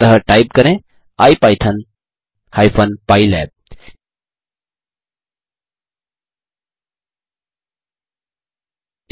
अतः टाइप करें ipython hyphen pylab